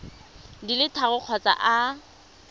di le tharo kgotsa a